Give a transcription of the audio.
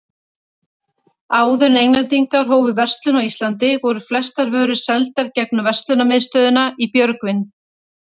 Áður en Englendingar hófu verslun á Íslandi, voru flestar vörur seldar gegnum verslunarmiðstöðina í Björgvin.